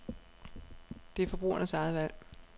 Det er forbrugernes eget valg.